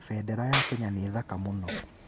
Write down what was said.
Bendera ya Kenya nĩ thaka mũno.